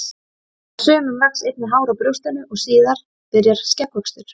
Hjá sumum vex einnig hár á brjóstinu og síðan byrjar skeggvöxtur.